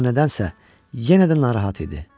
Amma nədənsə yenə də narahat idi.